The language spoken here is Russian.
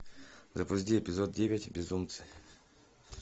запусти эпизод девять безумцы